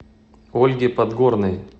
ольге подгорной